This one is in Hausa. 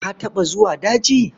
Ka taɓa zuwa daji?